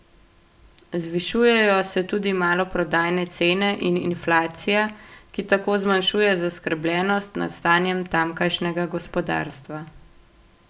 Zvišujejo se tudi maloprodajne cene in inflacija, ki tako zmanjšuje zaskrbljenost nad stanjem tamkajšnjega gospodarstva.